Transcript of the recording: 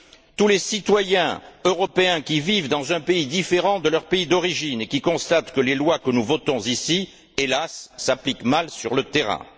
tous les citoyens européens qui vivent dans un pays différent de leur pays d'origine et qui constatent que les lois que nous votons ici, hélas, s'appliquent mal sur le terrain.